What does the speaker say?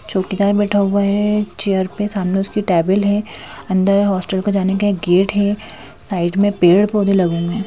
चौकीदार बैठा हुआ है चेयर पे सामने उसकी टेबल है अंदर हॉस्टल को जाने का एक गेट है साइड में पेड़ पौधे लगे हुए है।